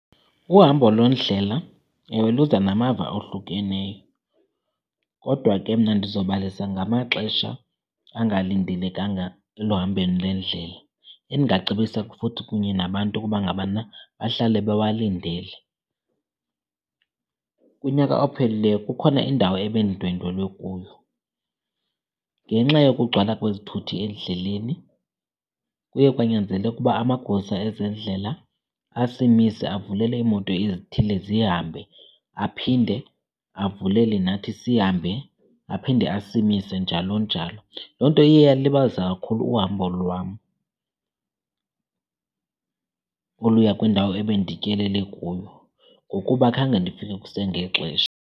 Uhambo lwendlela ewe luza namava ohlukeneyo, kodwa ke mna ndizobalisa ngamaxesha angalindelekanga eluhambeni lendlela endingacebisa futhi kunye nabantu ukuba ngabana bahlale bewalindele. Kunyaka ophelileyo kukhona indawo ebendindwendwele kuyo. Ngenxa yokugcwala kwezithuthi endleleni kuye kwanyanzeleka ukuba amagosa ezendlela asimise avulele iimoto ezithile zihambe aphinde avulele nathi sihambe, aphinde asimise njalo njalo. Loo nto iye yalilibazisa kakhulu uhambo lwam oluya kwindawo ebendityelele kuyo ngokuba khange ndifike kusengexesha.